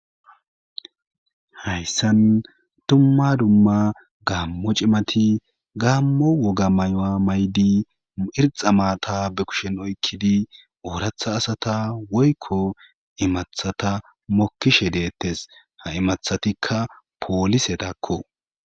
hayssan tumma dumma gaammo cimati gaammo woga maywa maydi irxa maata be kushen oykkidi ooratha asata woykko imathata mokkishe deettes ha imathatikka poolise dakko